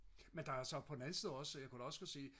men der er så på den anden side også jeg kunne da også godt se